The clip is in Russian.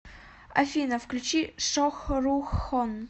афина включи шохрухон